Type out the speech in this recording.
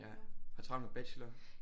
Ja har travlt med bachelor